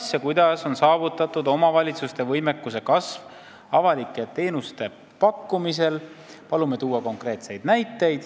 Kas ja kuidas on saavutatud omavalitsuste võimekuse kasv avalike teenuste pakkumisel ?